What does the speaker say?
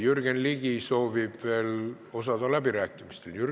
Jürgen Ligi soovib veel läbirääkimistel osaleda.